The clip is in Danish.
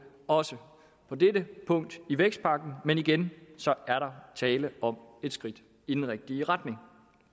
også på dette punkt i vækstpakken men igen er der tale om et skridt i den rigtige retning